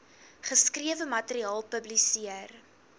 geskrewe materiaal publiseer